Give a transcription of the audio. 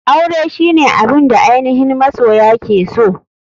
Aure shine abun da ainihin masoya ke so.